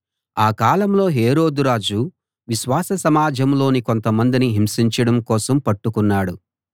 ఆ కాలంలో హేరోదు రాజు విశ్వాస సమాజంలోని కొంతమందిని హింసించడం కోసం పట్టుకున్నాడు